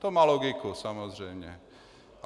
To má logiku samozřejmě.